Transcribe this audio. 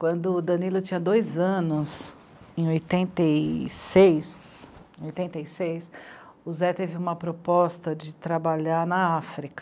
Quando o Danilo tinha dois anos, em oitenta e... seis, em oitentae seis, o Zé teve uma proposta de trabalhar na África.